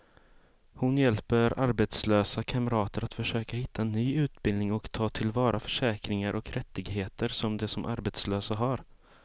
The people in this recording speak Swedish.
Hon hjälper arbetslösa kamrater att försöka hitta ny utbildning och ta till vara försäkringar och rättigheter som de som arbetslösa har.